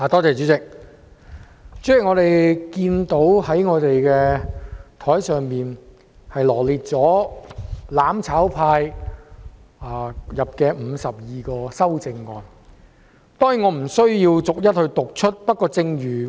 主席，我們桌上的文件，羅列"攬炒派"提出的52項修正案，我當然不會逐一讀出。